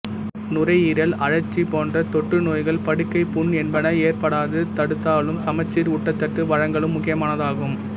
நுரையீரல் அழற்சி போன்ற தொற்றுநோய்கள் படுக்கைப் புண் என்பன ஏற்படாது தடுத்தலும் சமச்சீர் ஊட்டச்சத்து வழங்கலும் முக்கியமானதாகும்